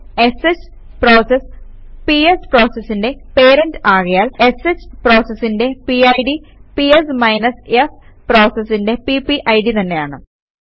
ഷ് process PS പ്രോസസിന്റെ parent ആകയാൽ sh പ്രോസസിന്റെ പിഡ് പിഎസ് f പ്രോസസിന്റെ പിപിഡ് തന്നെയാണ്